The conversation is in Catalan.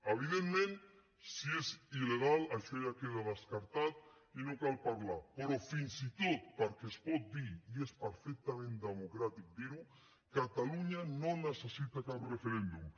evidentment si és il·legal això ja queda descartat i no cal parlar ne però fins i tot perquè es pot dir i és perfectament democràtic dir ho catalunya no necessita cap referèndum